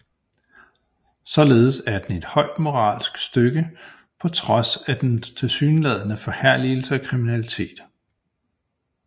Således er den et højt moralsk stykke på trods af dens tilsyneladende forherligelse af kriminalitet